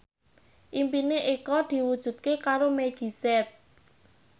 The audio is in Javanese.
impine Eko diwujudke karo Meggie Z